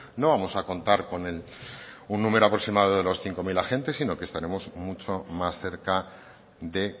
no vamos a contar con un número aproximado de los cinco mil agentes sino que estaremos mucho más cerca de